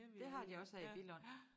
Det har de også her i Billund